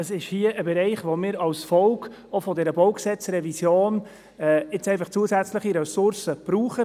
Das ist ein Bereich, in dem wir auch als Folge der BauG-Revision zusätzliche Ressourcen brauchen.